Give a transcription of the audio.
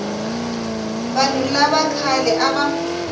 vanhu lava khale a va